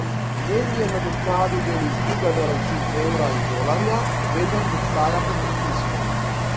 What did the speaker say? Jen je nadoknadil del izgube na račun evra in dolarja, vendar ostaja pod pritiskom.